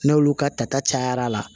N'olu ka tata cayara la